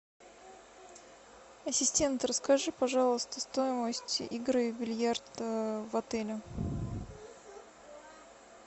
ассистент расскажи пожалуйста стоимость игры в бильярд в отеле